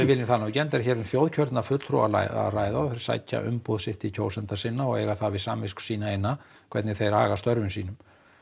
vilji það nú ekki enda er um þjóðkjörna fulltrúa að ræða og þeir sækja umboð sitt til kjósenda sinna og eiga það við samvisku sína eina hvernig þeir haga störfum sínum